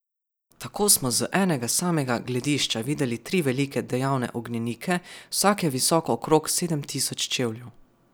Tako smo z enega samega gledišča videli tri velike dejavne ognjenike, vsak je visok okrog sedem tisoč čevljev.